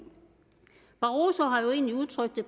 barroso har jo egentlig udtrykt det